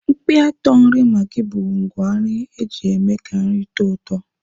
Mkpịatọ nri maggi bụ ngwá nri eji eme ka nri tọọ ụtọ.